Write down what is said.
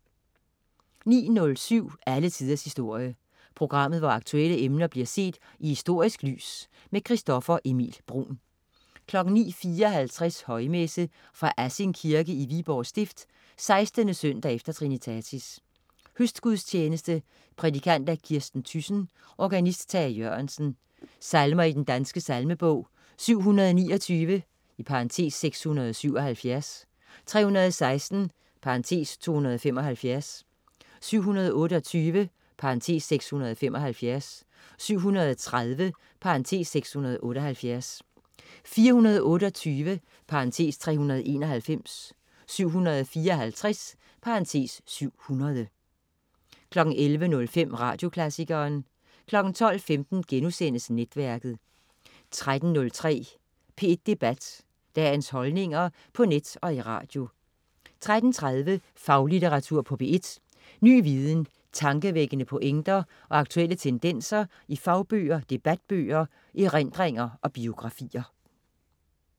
09.07 Alle tiders historie. Programmet, hvor aktuelle emner bliver set i historisk lys. Christoffer Emil Bruun 09.54 Højmesse. Fra Assing Kirke (Viborg Stift). 16. søndag efter trinitatis. Høstgudstjeneste. Prædikant: Kirsten Thyssen. Organist: Tage Jørgensen. Salmer i Den Danske Salmebog: 729 (677), 316 (275), 728 (675), 730 (678), 428 (391), 754 (700) 11.05 Radioklassikeren 12.15 Netværket* 13.03 P1 Debat. Dagens holdninger på net og i radio 13.30 Faglitteratur på P1. Ny viden, tankevækkende pointer og aktuelle tendenser i fagbøger, debatbøger, erindringer og biografier